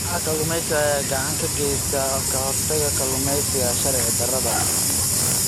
Kooxaha kalluumeysiga ayaa gacan ka geysta ka hortagga kalluumeysiga sharci darrada ah.